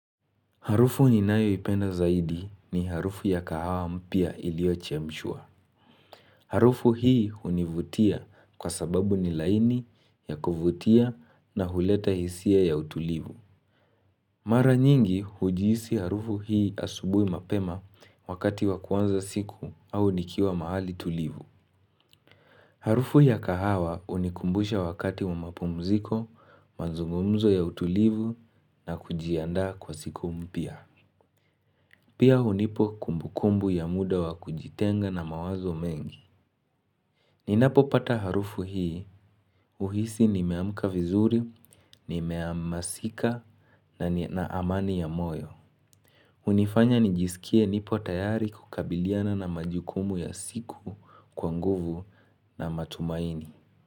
Harufu ninayoipenda zaidi ni harufu ya kahawa mpya iliyochemshwa. Harufu hii hunivutia kwa sababu ni laini ya kuvutia na huleta hisia ya utulivu. Mara nyingi hujiisi harufu hii asubuhi mapema wakati wa kuanza siku au nikiwa mahali tulivu. Harufu ya kahawa unikumbusha wakati wa mapumziko, mazungumzo ya utulivu na kujiandaa kwa siku mpya. Pia hunipa kumbukumbu ya muda wa kujitenga na mawazo mengi. Ninapopata harufu hii, huhisi nimeamka vizuri, nimeamasika na amani ya moyo. Hunifanya nijisikie nipo tayari kukabiliana na majukumu ya siku kwa nguvu na matumaini.